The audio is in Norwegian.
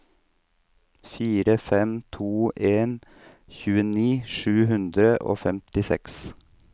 fire fem to en tjueni sju hundre og femtiseks